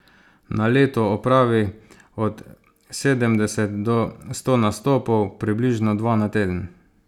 Na leto opravi od sedemdeset do sto nastopov, približno dva na teden.